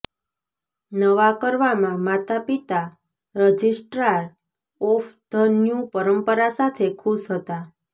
નવા કરવામાં માતાપિતા રજિસ્ટ્રાર ઓફ ધ ન્યૂ પરંપરા સાથે ખુશ હતા